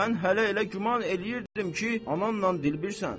Mən hələ elə güman eləyirdim ki, anamla dilbirsən.